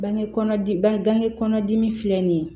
Bange kɔnɔ di bange bange kɔnɔ dimi filɛ nin ye